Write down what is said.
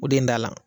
O de ye n da la